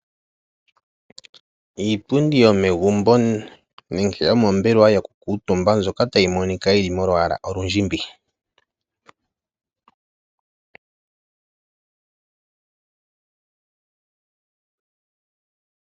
Iipundi yomegumbo nenge yomombelwa yokukuutumba mbyoka tayi monika yili molwaala olundjimbi.